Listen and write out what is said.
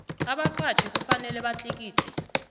abaqatjhi kufanele batlikitle